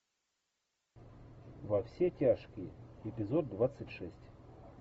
во все тяжкие эпизод двадцать шесть